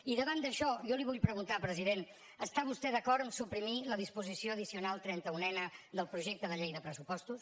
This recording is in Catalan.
i davant d’això jo li vull preguntar president està vostè d’acord amb suprimir la disposició addicional trenta unena del projecte de llei de pressupostos